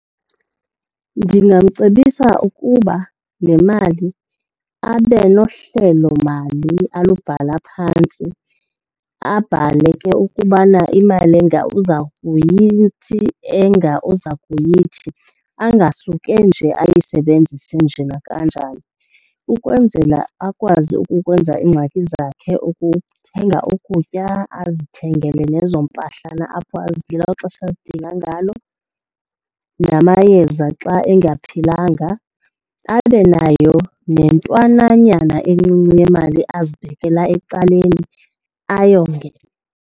Ndingamcebisa ukuba le mali abe nohlelomali alubhala phantsi abhale ke ukubana imali enga uza kuyithi enga uza kuyithi, angasuke nje ayisebenzise nje nakanjani. Ukwenzela akwazi ukukwenza iingxaki zakhe, ukuthenga ukutya, azithengele nezo mpahlana apho ngelo xesha azidinga ngalo namayeza xa engaphilanga, abe nayo nentwanananyana encinci yemali azibekela ecaleni ayonge.